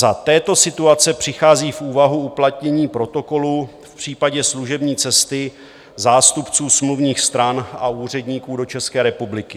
Za této situace přichází v úvahu uplatnění Protokolu v případě služební cesty zástupců smluvních stran a úředníků do České republiky.